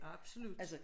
Absolut